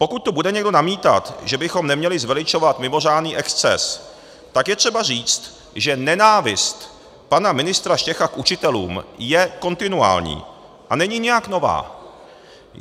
Pokud tu bude někdo namítat, že bychom neměli zveličovat mimořádný exces, tak je třeba říct, že nenávist pana ministra Štecha k učitelům je kontinuální a není nijak nová.